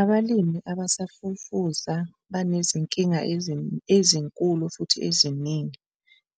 Abalimi abasafufusa banezinkinga ezinkulu futhi eziningi,